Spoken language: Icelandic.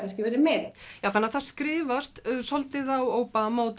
verið meiri já þannig að það skrifast svolítið á Obama og